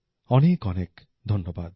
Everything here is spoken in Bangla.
অনেকঅনেক ধন্যবাদ